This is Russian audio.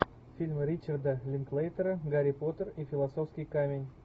фильм ричарда линклейтера гарри поттер и философский камень